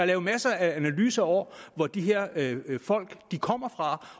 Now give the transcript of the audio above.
lave masser af analyser over hvor de her folk kommer fra